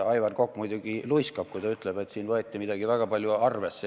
Aivar Kokk muidugi luiskab, kui ta ütleb, et siin võeti midagi väga palju arvesse.